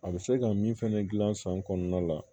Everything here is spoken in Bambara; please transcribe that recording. A bɛ se ka min fɛnɛ gilan san kɔnɔna la